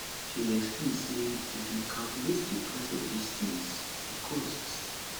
she explain say if dem calculate di price of dis tins e cost